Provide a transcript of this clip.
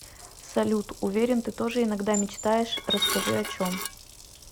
салют уверен ты тоже иногда мечтаешь расскажи о чем